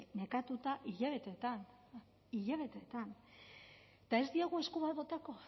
nekatuak hilabeteetan hilabeteetan eta ez diegu esku bat botako